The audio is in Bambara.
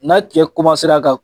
N'a cɛ ka